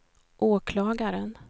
åklagaren